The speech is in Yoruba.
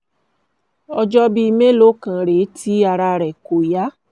ọjọ́ bíi mélòó kan rèé tí ara rẹ̀ kò yá